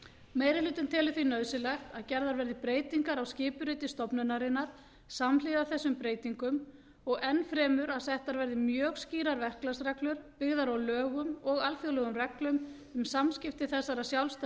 meiri hlutinn telur því nauðsynlegt að gerðar verði breytingar á skipuriti stofnunarinnar samhliða þessum breytingum og enn fremur að settar verði mjög skýrar verklagsreglur byggðar á lögum og alþjóðlegum reglum um samskipti þessarar